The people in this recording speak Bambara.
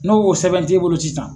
N'o sɛbɛn t'e bolo sisan